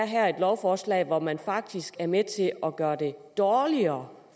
her er et lovforslag hvor man faktisk er med til at gøre det dårligere